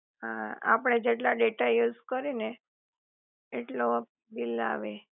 અ આપડે જેટલા data use કરી એ ને એટલો જ બિલ આવે